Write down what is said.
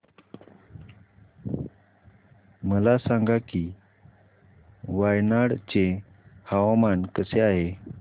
मला सांगा की वायनाड चे हवामान कसे आहे